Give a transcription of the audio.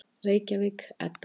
Reykjavík, Edda.